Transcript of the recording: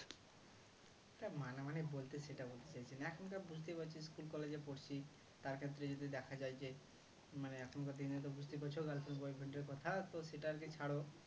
তা মানামানি বলতে সেটা বলতে চাইছি না এখন তা বুঝতেই পাচ্ছি school college এ পড়ছি তার ক্ষেত্রে যদি দেখা যায় যে মানে এখানকার দিনে তো বুঝতেই পারছো girlfriend boyfriend এর কথা তো সেটা আরকি ছাড়ো